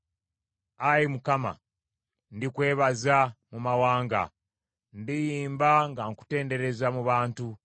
Ayi Mukama, ndikwebaza mu mawanga; ndiyimba nga nkutendereza mu bantu.